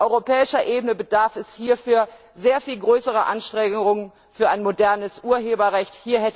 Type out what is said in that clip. Auf europäischer Ebene bedarf es hierfür sehr viel größerer Anstrengungen für ein modernes Urheberrecht.